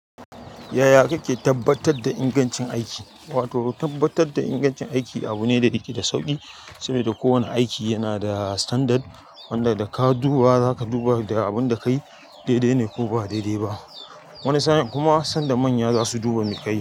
Yaya kake tabbatar da ingancin aiki? Wato tabbatar da ingancin aiki abu ne da yake da sauƙi. Saboda kowane aiki yana da standard wanda da ka duba zaka duba da abunda kayi daidai ne ko ba daidai ba. Wani sa'in kuma sanda manya zasu duba me kayi.